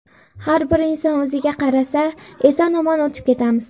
Har bir inson o‘ziga qarasa, eson-omon o‘tib ketamiz.